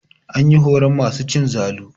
An yi horon masu cin zalu.